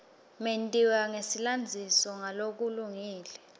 mentiwa nesilandziso ngalokulungile